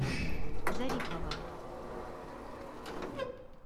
зарипова